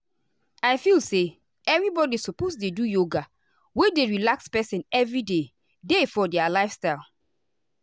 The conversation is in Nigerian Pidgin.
i feel say everybody suppose dey do yoga wey dey relax person every day day for their lifestyle.